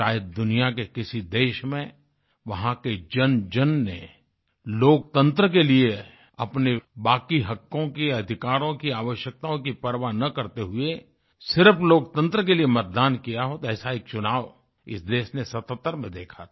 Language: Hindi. शायद दुनिया के किसी देश में वहाँ के जनजन ने लोकतंत्र के लिए अपने बाकी हकों की अधिकारों कीआवश्यकताओं की परवाह ना करते हुए सिर्फ लोकतंत्र के लिए मतदान किया होतो ऐसा एक चुनाव इस देश ने 77 सतत्तर में देखा था